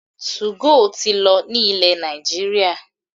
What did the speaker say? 2go ti lọ ní ilẹ̀ Nàìjíríà